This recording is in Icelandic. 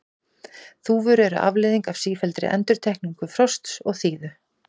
Þúfur eru afleiðing af sífelldri endurtekningu frosts og þíðu.